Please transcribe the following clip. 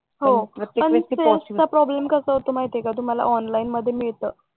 हो पण सेल्स चा प्रॉब्लेम कसा होतो माहित आहे का तुम्हाला ओंलीने मध्ये मिळत